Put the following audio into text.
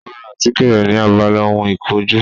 Ó ra àtíkè rẹ̀ ni abala ohun ìkojú